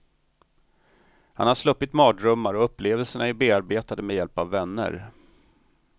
Han har sluppit mardrömmar och upplevelserna är bearbetade med hjälp av vänner.